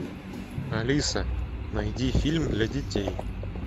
алиса найди фильм для детей